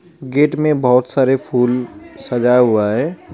Gate में बहुत सारे फूल सजा हुआ है.